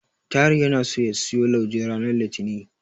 Tahir yana so ya siyo lauje ranar Litinin.